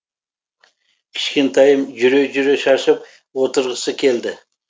кішкентайым жүре жүре шаршап отырғысы келді